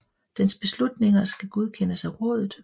Dens beslutninger skal godkendes af rådet